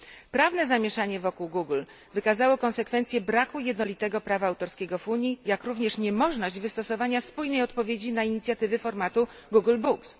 Prawne zamieszanie wokół Google wykazało konsekwencje braku jednolitego prawa autorskiego w Unii, jak również niemożność wystosowania spójnej odpowiedzi na inicjatywy formatu Google Books.